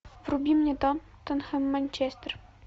вруби мне тоттенхэм манчестер